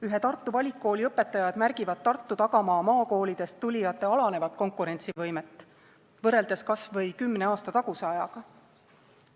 Ühe Tartu valikkooli õpetajad märgivad Tartu tagamaa maakoolidest tulijate alanenud konkurentsivõimet võrreldes kas või kümne aasta taguse ajaga.